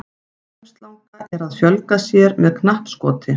Armslanga að fjölga sér með knappskoti.